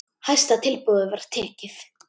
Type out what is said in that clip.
Hæsta tilboði var tekið.